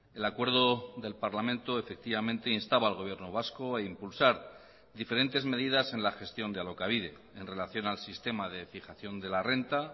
el acuerdo del parlamento efectivamente instaba al gobierno vasco a impulsar diferentes medidas en la gestión de alokabide en relación al sistema de fijación de la renta